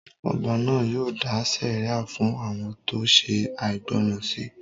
Ọba náà yóò dá sẹ̀ríà fún àwọn tó ṣe àìgbọràn sí